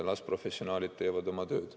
Las professionaalid teevad oma tööd.